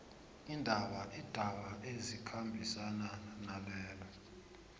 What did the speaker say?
iindaba ezikhambisana nalezo